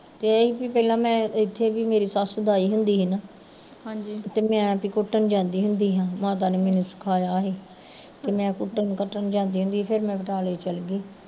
ਤੇ ਏਹ ਸੀ ਵੀ ਮੈਂ ਪਹਿਲੇ ਇੱਥੇ ਵੀ ਮੇਰੀ ਸੱਸ ਲਾਈ ਹੁੰਦੀ ਸੀ ਨਾ ਤੇ ਮੈਂ ਤਾਂ ਕੁੱਟਣ ਜਾਂਦੀ ਹੁੰਦੀ ਸਾ ਮਾਤਾ ਨੇ ਮੈਨੂੰ ਸਿਖਾਇਆ ਸੀ, ਤੇ ਮੈਂ ਕੁੱਟਣ ਕੰਟਣ ਜਾਂਦੀ ਹੁੰਦੀ ਸੀ ਫਿਰ ਮੈਂ ਬਟਾਲੇ ਚੱਲਗੀ